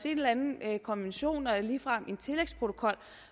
en eller anden konvention og ligefrem en tillægsprotokol